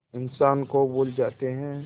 इंसान को भूल जाते हैं